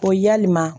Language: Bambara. Ko yalima